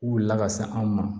Wulila ka se anw ma